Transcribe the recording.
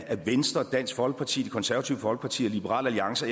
af venstre danske folkeparti det konservative folkeparti og liberal alliance